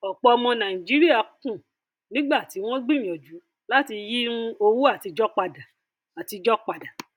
ọpọ ọmọ nàìjíríà kùn nígbà tí wọn gbìyànjú láti yí um owó àtijọ padà àtijọ padà